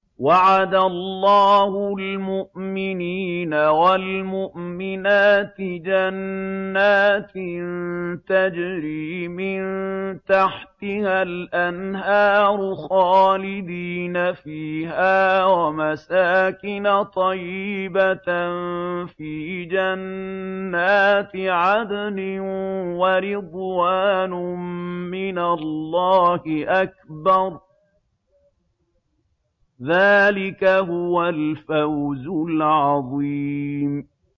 وَعَدَ اللَّهُ الْمُؤْمِنِينَ وَالْمُؤْمِنَاتِ جَنَّاتٍ تَجْرِي مِن تَحْتِهَا الْأَنْهَارُ خَالِدِينَ فِيهَا وَمَسَاكِنَ طَيِّبَةً فِي جَنَّاتِ عَدْنٍ ۚ وَرِضْوَانٌ مِّنَ اللَّهِ أَكْبَرُ ۚ ذَٰلِكَ هُوَ الْفَوْزُ الْعَظِيمُ